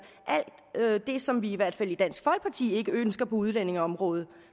alt det som vi i hvert fald i dansk folkeparti ikke ønsker på udlændingeområdet